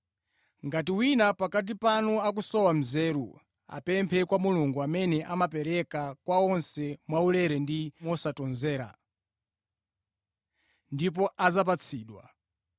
Ngati wina pakati panu akusowa nzeru, apemphe kwa Mulungu amene amapereka kwa onse mwaulere ndi mosatonzera, ndipo adzapatsidwa.